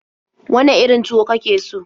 Wane irin tuwo ka ke so?